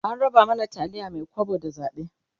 an raba mana taliyar Mai kwabo da zabe